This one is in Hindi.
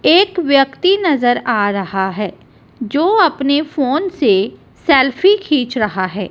एक व्यक्ति नजर आ रहा है जो अपने फोन से सेल्फी खींच रहा है।